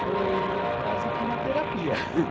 Foi quase que uma terapia.